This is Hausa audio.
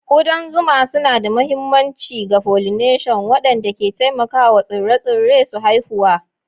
Kudan zuma suna da mahimmanci ga pollination, wanda ke taimakawa tsire-tsire su haifuwa.